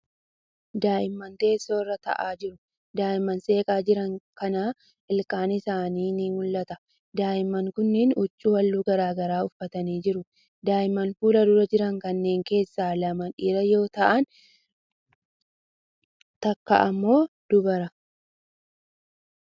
Daa'imman teessoo irra taa'aa jiru. Daa'imman seeqaa jiran kana ilkaan isaanii ni mul'ata. Daa'imman kunniin huccuu haalluu garagaraa uffatanii jiru. Daa'imman fuuldura jiran kanneen keessaa lama dhiira yoo ta'an takka immoo dubara.